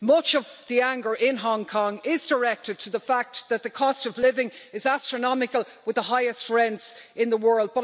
Much of the anger in Hong Kong is directed at the fact that the cost of living is astronomical with the highest rents in the world.